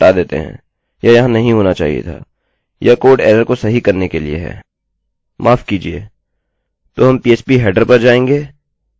चलिए इसको हटा देते हैं यह यहाँ नहीं होना चाहिए था यह कोड एररerrorको सही करने के लिए है